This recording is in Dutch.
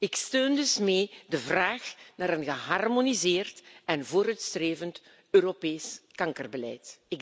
Ik steun dus mee de vraag naar een geharmoniseerd en vooruitstrevend Europees kankerbeleid.